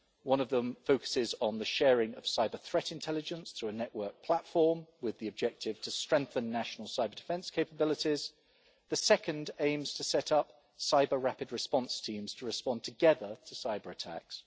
One of them focuses on the sharing of cyber-threat intelligence through a network platform with the objective to strengthen national cyber-defence capabilities, the second aims to set up cyber rapid response teams to respond together to cyber-attacks.